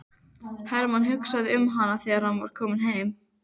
Hermann hugsaði um hana þegar hann var kominn heim.